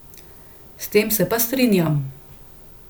S tem se pa strinjam.